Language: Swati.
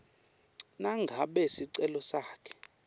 nangabe sicelo sakho